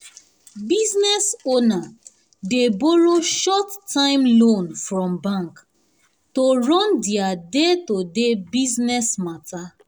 business owner dey borrow short-time loan from bank to run their day-to-day business matter.